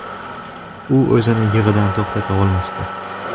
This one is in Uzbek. U o‘zini yig‘idan to‘xtata olmasdi.